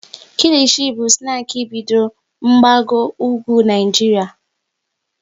Kilichi bụ snaki bidoro n'mgbago ugwu Naijiria